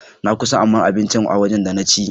Na kusan aman abincin waje da na ci.